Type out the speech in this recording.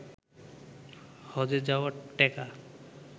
হজ্বে যাওয়ার টেকা